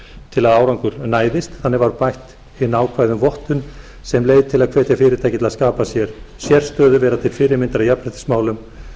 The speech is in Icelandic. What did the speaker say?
til að árangur næðist þannig var bætt inn ákvæði um vottun sem leið til að hvetja fyrirtæki til að skapa sér sérstöðu vera til fyrirmyndar í jafnréttismálum